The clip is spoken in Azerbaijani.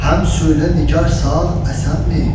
Həm söylə, nigar sağ-əsənmi?"